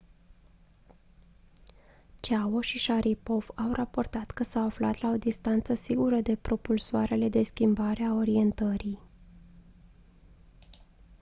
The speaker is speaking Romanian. chiao și sharipov au raportat că s-au aflat la o distanță sigură de propulsoarele de schimbare a orientării